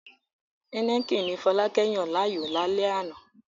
Heineken ni Fọlákẹ́ yàn láàyò ní alẹ́ àná